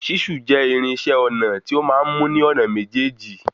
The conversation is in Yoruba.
Ṣísù jẹ́ irinṣẹ́ ọnà tí o máa n mú ní ònà méjèjì.